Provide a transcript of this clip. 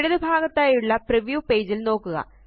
ഇടതുഭാഗത്തായുള്ള preview പേജില് നോക്കുക